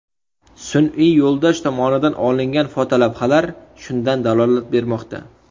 Sun’iy yo‘ldosh tomonidan olingan fotolavhalar shundan dalolat bermoqda.